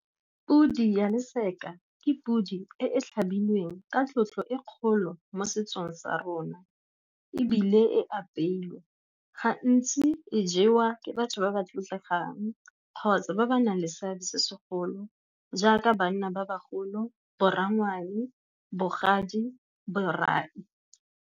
Podi ya leseke ke podi e e tlhabilweng ka tlotlo e kgolo mo setsong sa rona, ebile e apeilwe. Gantsi e jewa ke batho ba ba tlotlegang, kgotsa ba ba nang le seabe se segolo jaaka banna ba bagolo, boranyane, bogadi, borai.